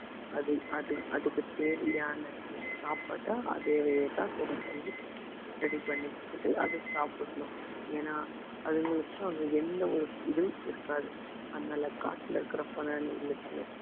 அது அது அதுக்கு தேவையான சாப்பாட்ட அதவேதான் ready பண்ணி ready பண்ணிக்கிட்டு அது சாப்பிடணும் ஏன்னா அதுங்களுக்கு அங்க எந்த ஒரு இதுவும் இருக்காது அதனால காட்டுல இருக்கிற பிராணிகளுக்கு